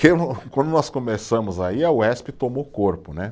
Quando nós começamos aí, a Uesp tomou corpo, né?